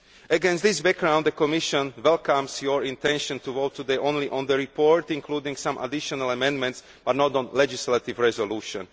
Against this background, the Commission welcomes your intention to vote today only on the report, including some additional amendments, but not on the legislative resolution.